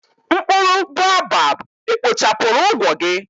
Mkpụrụ boabab ekpochapụrụ ụgwọ gị?